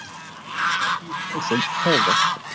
Gríðarlega dýr heimsókn páfa